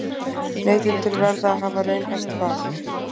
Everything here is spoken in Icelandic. Neytendur verða að hafa raunhæft val